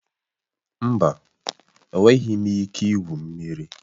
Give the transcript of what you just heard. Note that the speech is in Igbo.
Mba, enweghị m ike igwu mmiri